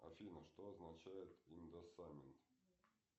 афина что означает индоссамент